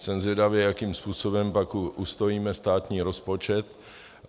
Jsem zvědavý, jakým způsobem pak ustojíme státní rozpočet.